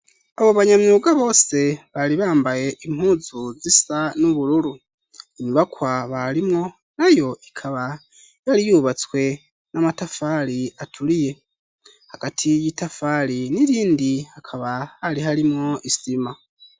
Abo banyamyuga bose bari bambaye impuzu zisa n'ubururu inyubakwa barimwo nayo ikaba yari yubatswe n'amatafari aturiye hagati y'itafari n'irindi hakaba hari harimwo isima.